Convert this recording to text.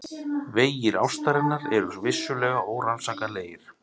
Vegir ástarinnar eru vissulega órannsakanlegir.